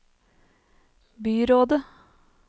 byrådet